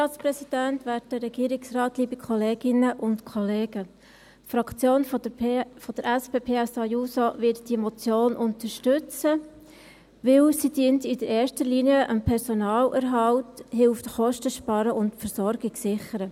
Die Fraktion der SP-JUSO-PSA-Fraktion wird diese Motion unterstützen, weil sie in erster Linie dem Personalerhalt dient, Kosten zu sparen und die Versorgung zu sichern hilft.